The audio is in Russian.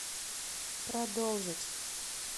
продолжить